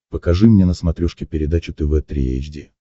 покажи мне на смотрешке передачу тв три эйч ди